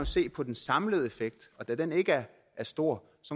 se på den samlede effekt og da den ikke er stor